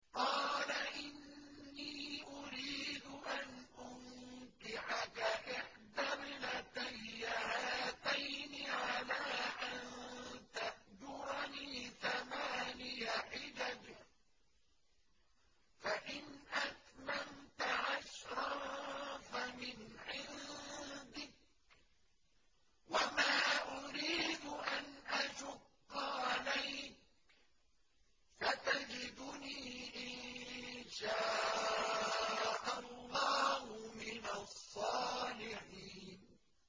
قَالَ إِنِّي أُرِيدُ أَنْ أُنكِحَكَ إِحْدَى ابْنَتَيَّ هَاتَيْنِ عَلَىٰ أَن تَأْجُرَنِي ثَمَانِيَ حِجَجٍ ۖ فَإِنْ أَتْمَمْتَ عَشْرًا فَمِنْ عِندِكَ ۖ وَمَا أُرِيدُ أَنْ أَشُقَّ عَلَيْكَ ۚ سَتَجِدُنِي إِن شَاءَ اللَّهُ مِنَ الصَّالِحِينَ